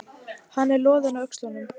Hann er loðinn á öxlunum.